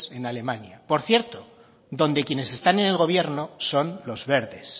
en alemania por cierto donde quienes están en el gobierno son los verdes